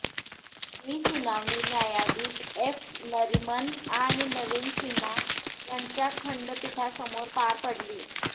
ही सुनावणी न्यायाधीश एफ नरिमन आणि नवीन सिन्हा यांच्या खंडपीठासमोर पार पडली